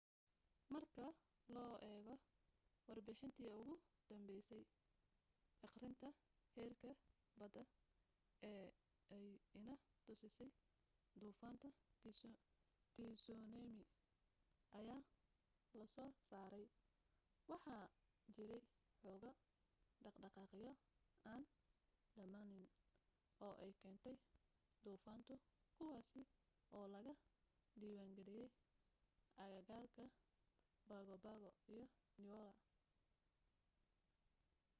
marka loo eego warbixintii ugu danbaysay akhrinta heerka badda ee ay inna tusisay duufaanta tsunami ayaa lasoo saaray waxaa jiray woxoogaa dhaqdhaqaaqyo aan dhamaanayn oo ay keentay duufaantu kuwaasi oo laga diwaangaliyay aagaga pago pago iyo niue